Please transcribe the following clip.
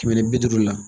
Kɛmɛ ni bi duuru la